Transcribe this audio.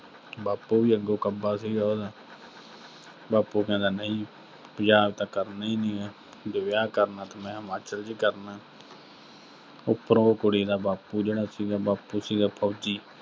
ਬਾਪੂ ਵੀ ਅੱਗੋਂ ਕੱਬਾ ਸੀਗਾ ਉਹਦਾ ਬਾਪੂ ਕਹਿੰਦਾ ਨਈਂ, ਪੰਜਾਬ ਤਾਂ ਕਰਨਾ ਹੀ ਨਈਂ ਆ, ਵੀ ਜੇ ਵਿਆਹ ਕਰਨਾ ਤਾਂ ਮੈਂ ਹਿਮਾਚਲ 'ਚ ਹੀ ਕਰਨਾ ਉਪਰੋਂ ਉਹ ਕੁੜੀ ਦਾ ਬਾਪੂ ਜਿਹੜਾ ਸੀਗਾ, ਬਾਪੂ ਸੀਗਾ ਫੌਜੀ।